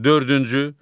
Dördüncü.